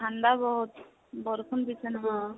ঠান্দা বহুত, বৰষুণ দিছে নহয়।